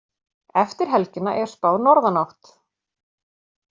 Eftir helgina er spáð norðanátt